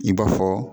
I b'a fɔ